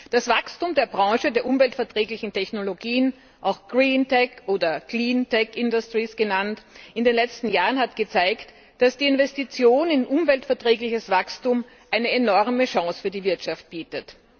Das Wachstum der Branche der umweltverträglichen Technologien auch green tech oder clean tech industries genannt in den letzten Jahren hat gezeigt, dass die Investition in umweltverträgliches Wachstum eine enorme Chance für die Wirtschaft bietet.